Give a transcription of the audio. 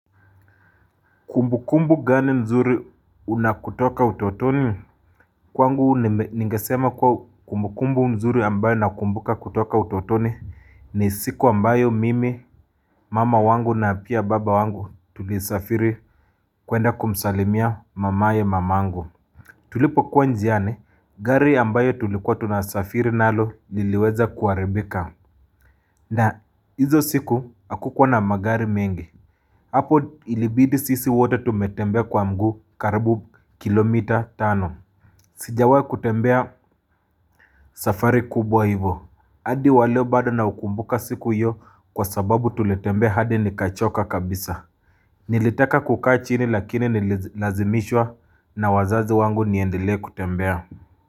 Kumbukumbu gani nzuri unakutoka utotoni? Kwangu ningesema kuwa kumbukumbu nzuri ambayo nakumbuka kutoka utotoni ni siku ambayo mimi, mama wangu na pia baba wangu tulisafiri kwenda kumsalimia mamaye mamangu. Tulipokuwa njiani, gari ambayo tulikuwa tunasafiri nalo liliweza kuharibika. Na hizo siku hakukuwa na magari mengi. Apo ilibidi sisi wote tumetembea kwa mguu karibu kilomita tano Sijawai kutembea safari kubwa hivyo hadi wa leo bado na ukumbuka siku hiyo kwa sababu tulitembea hadi nikachoka kabisa Nilitaka kukaa chini lakini nililazimishwa na wazazi wangu niendele kutembea.